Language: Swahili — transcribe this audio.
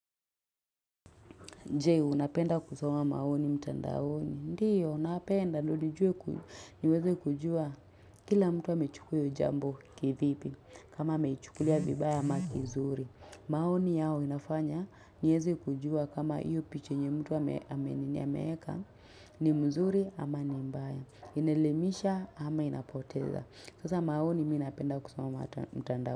Je, unapenda kuoama maoni mtandaoni. Ndiyo, napenda ndiyo niweze kujua Kila mtu wa amechukua hiyo jambo kivipi. Kama ameichukulia vibaya ama kiuzuri. Maoni yao inafanya. Niyeze kujua kama iyo picha yenye mtu ameeka. Ni mzuri ama ni mbaya. Inaelimisha ama inapoteza. Kwanza maoni minapenda kusoma mtandaoni.